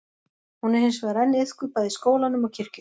Hún er hins vegar enn iðkuð bæði í skólanum og kirkjunni.